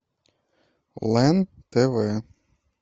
лен тв